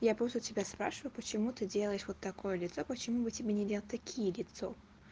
я просто тебя спрашиваю почему ты делаешь вот такое лицо почему бы тебе не делать такие лицо